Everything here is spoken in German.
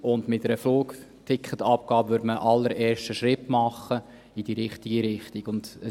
Mit einer Flugticketabgabe würde man einen allerersten Schritt in die richtige Richtung machen.